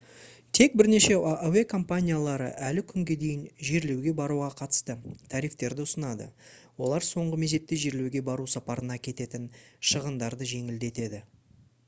тек бірнеше әуе компаниялары әлі күнге дейін жерлеуге баруға қатысты тарифтерді ұсынады олар соңғы мезетте жерлеуге бару сапарына кететін шығындарды жеңілдетеді